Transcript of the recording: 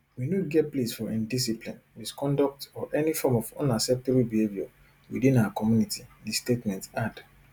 we no get place for indiscipline misconduct or any form of unacceptable behaviour within our community di statement add